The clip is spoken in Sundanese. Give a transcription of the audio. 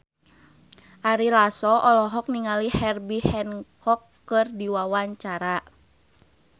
Ari Lasso olohok ningali Herbie Hancock keur diwawancara